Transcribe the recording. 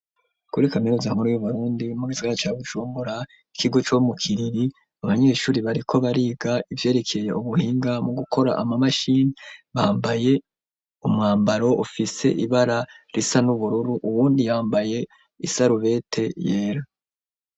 Kuri kaminuza nkuru yu Burundi mu gisagara ca Bujumbura ikigo co mu kiriri abanyeshuri bariko bariga ivyerekeye ubuhinga mu gukora ama mashini bambaye umwambaro ufise ibara risa n'ubururu uwundi yambaye isarubete yera.